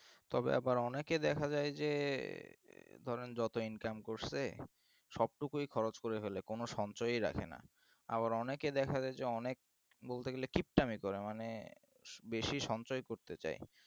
তবে আবার অনেকে দেখা যায় যে, ধরে যত income করছে সবটুকুই খরচ করে ফেলে কোন কিছু সঞ্চয়ই রাখে না। আবার অনেকেদেখা যায় যে অনেক বলতে গেলে কিপটামি করে আর কি মানে বেশি সঞ্চয় করতে চাই